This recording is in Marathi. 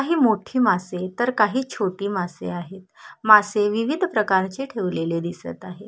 काही मोठी मासे तर काही छोटी मासे आहेत मासे विविध प्रकारचे ठेवलेले दिसत आहे.